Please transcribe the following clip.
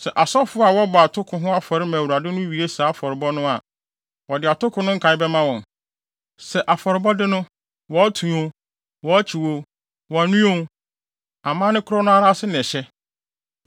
Sɛ asɔfo a wɔbɔ atoko ho afɔre ma Awurade no wie saa afɔrebɔ no a, wɔde atoko no nkae bɛma wɔn. Sɛ afɔrebɔde no, wɔto o, wɔkyew o, wɔnoa o, amanne koro no ara ase na ɛhyɛ.